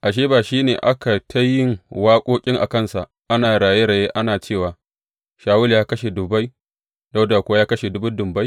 Ashe, ba shi ne aka yi ta yin waƙoƙi a kansa, ana raye raye, ana cewa, Shawulu ya kashe dubbai, Dawuda kuwa ya kashe dubun dubbai?